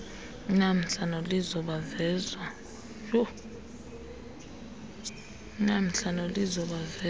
unamhla nolizo bavezwa